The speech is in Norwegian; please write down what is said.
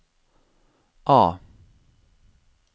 A